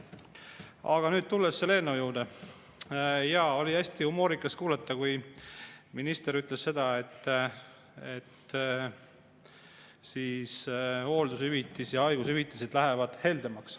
Aga nüüd tulles selle eelnõu juurde, jaa, oli hästi humoorikas kuulata, kui minister ütles seda, et hooldushüvitis ja haigushüvitised lähevad heldemaks.